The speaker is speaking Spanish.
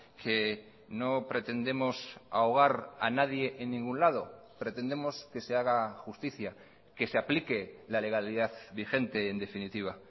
que no pretendemos ahogar a nadie en ningún lado pretendemos que se haga justicia que se aplique la legalidad vigente en definitiva